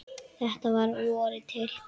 Þetta var að vori til.